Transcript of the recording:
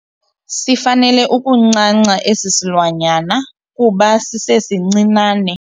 Sifanele ukuncanca esi silwanyana kuba sisesincinane.